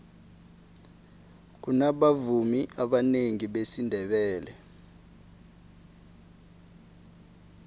kunabavumi abanengi besindebele